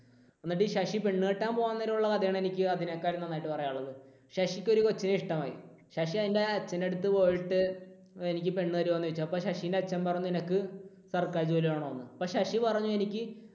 എന്നിട്ട് ശശി പെണ്ണുകെട്ടാൻ പോകാൻ നേരം ഉള്ള കഥയാണ് എനിക്ക് അതിനേക്കാൾ നന്നായിട്ട് പറയാനുള്ളത്. ശശിക്ക് ഒരു കൊച്ചിനെ ഇഷ്ടമായി. ശശി അതിൻറെ അച്ഛൻറെ അടുത്തു പോയിട്ട് എനിക്ക് പെണ്ണ് തരുമോ എന്ന് ചോദിച്ചു അപ്പോൾ ശശിന്റെ അച്ഛൻ പറഞ്ഞു നിനക്ക് സർക്കാർ ജോലി വേണം എന്ന്. അപ്പോൾ ശശി പറഞ്ഞു എനിക്ക്